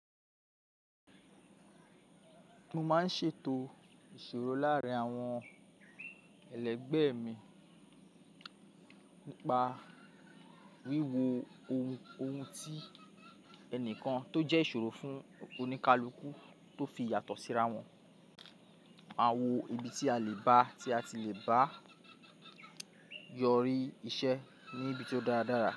Mo máa ń ṣètò ìṣòro láàárín àwọn ẹlẹgbẹ́ mi nípa wíwo ohun tí ẹnìkan tó jẹ́ ìṣòro fún oníkálukú tó fi yàtọ̀ síra wọn. Máa wo ibi tí a lè bá ti a ti le bá yọrí iṣẹ́ ní ibi tí ó dáradára.